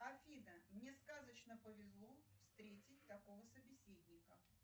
афина мне сказочно повезло встретить такого собеседника